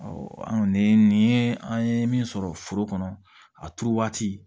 an ni an ye min sɔrɔ foro kɔnɔ a turu waati